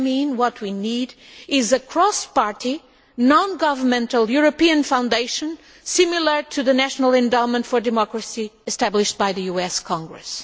What we need is a cross party non governmental European foundation similar to the National Endowment for Democracy established by the US Congress.